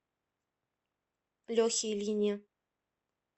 лехе ильине